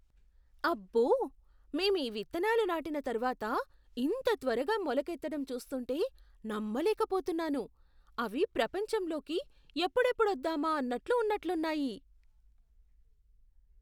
అబ్బో, మేం ఈ విత్తనాలు నాటిన తర్వాత ఇంత త్వరగా మొలకెత్తడం చూస్తుంటే నమ్మలేకపోతున్నాను. అవి ప్రపంచంలోకి ఎప్పుడెప్పుడు వద్దామా అన్నట్లు ఉన్నట్లున్నాయి!